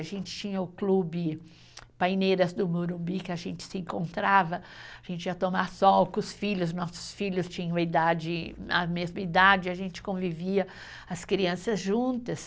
A gente tinha o clube Paineiras do Morumbi, que a gente se encontrava, a gente ia tomar sol com os filhos, nossos filhos tinham a idade, a mesma idade, a gente convivia, as crianças juntas.